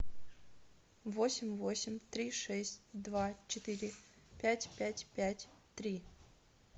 восемь восемь три шесть два четыре пять пять пять три